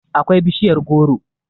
akwai bishiyar goro